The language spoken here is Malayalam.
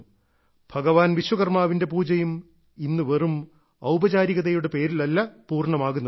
ഭഗവാൻ വിശ്വകർമാവിന്റെ പൂജയും ഇന്ന് വെറും ഔപചാരികതയുടെ പേരിലല്ല പൂർണമാകുന്നത്